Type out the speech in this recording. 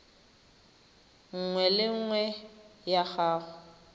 nngwe le nngwe ya go